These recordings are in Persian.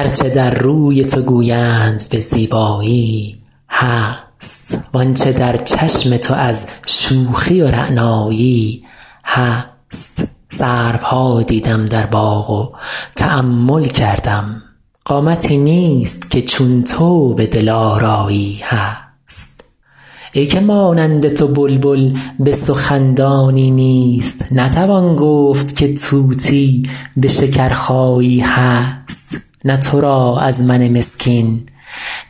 هر چه در روی تو گویند به زیبایی هست وان چه در چشم تو از شوخی و رعنایی هست سروها دیدم در باغ و تأمل کردم قامتی نیست که چون تو به دلآرایی هست ای که مانند تو بلبل به سخن دانی نیست نتوان گفت که طوطی به شکرخایی هست نه تو را از من مسکین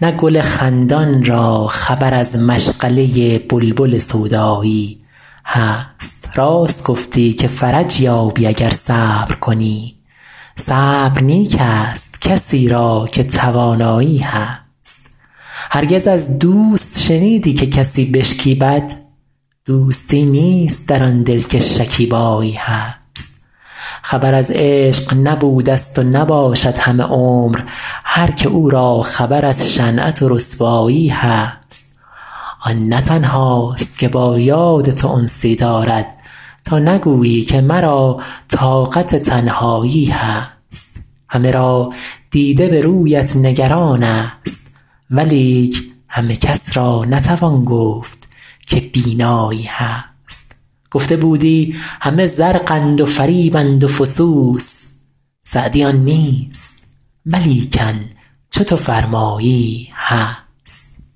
نه گل خندان را خبر از مشغله بلبل سودایی هست راست گفتی که فرج یابی اگر صبر کنی صبر نیک ست کسی را که توانایی هست هرگز از دوست شنیدی که کسی بشکیبد دوستی نیست در آن دل که شکیبایی هست خبر از عشق نبودست و نباشد همه عمر هر که او را خبر از شنعت و رسوایی هست آن نه تنهاست که با یاد تو انسی دارد تا نگویی که مرا طاقت تنهایی هست همه را دیده به رویت نگران ست ولیک همه کس را نتوان گفت که بینایی هست گفته بودی همه زرقند و فریبند و فسوس سعدی آن نیست ولیکن چو تو فرمایی هست